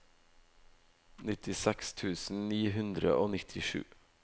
nittiseks tusen ni hundre og nittisju